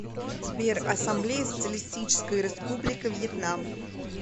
сбер ассамблея социалистическая республика вьетнам